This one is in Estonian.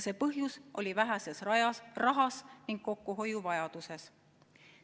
See põhjus peitus väheses rahas ja kokkuhoiuvajaduses.